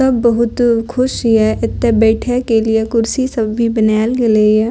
सब बहुत खुश हिय एते बैठे के लिए कुर्सी सब भी बनायल गेलइ हे।